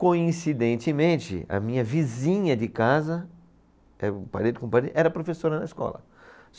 Coincidentemente, a minha vizinha de casa, parede com parede, era professora na escola.